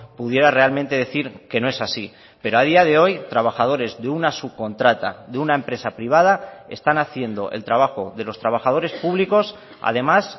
pudiera realmente decir que no es así pero a día de hoy trabajadores de una subcontrata de una empresa privada están haciendo el trabajo de los trabajadores públicos además